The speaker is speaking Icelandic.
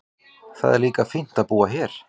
Það er líka fínt að búa hér.